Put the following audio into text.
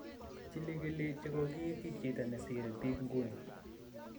chilikili chekokiityi chito nesiire biik nguni